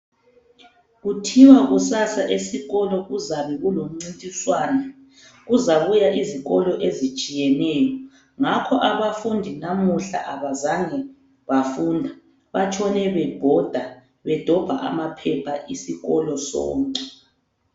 Kuthiwa kusasa esikolo kuzabe kulomcintiswano. Kuzabuya izikolo ezitshiyeneyo. Ngakho abafundi namuhla abazange bafunda ,batshone bebhoda bedobha amaphepha isikolo sonke.